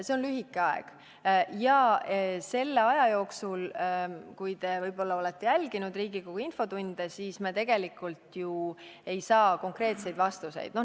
See on lühike aeg ja selle aja jooksul me tegelikult ju ei saa konkreetseid vastuseid.